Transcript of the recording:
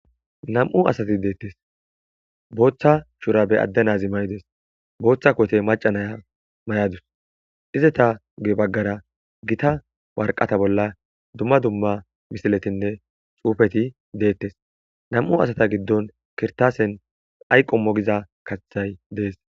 Nam7u asati deettes booththa shura be adde nazi maydes booththa kowte macanaya may7adus izetag baggara gita warqata bolla dumma dumma misiletinne xuufeti deettes nam7u asata giddon kirtaasen ayqo mogiza kathay dees